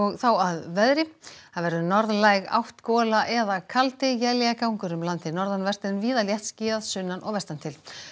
þá að veðri það verður norðlæg átt gola eða kaldi éljagangur um landið norðanvert en víða léttskýjað sunnan og vestan til